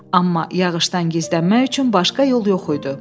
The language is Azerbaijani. Amma yağışdan gizlənmək üçün başqa yol yox idi.